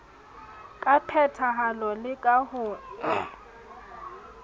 ka phethahalo le ka ho